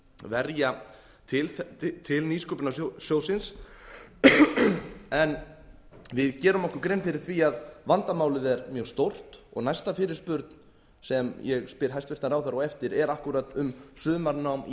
verja til nýsköpunarsjóðsins en við gerum okkur grein fyrir því að vandamálið er mjög stórt næsta fyrirspurn sem ég spyr hæstvirtur ráðherra á eftir er akkúrat um sumarnám í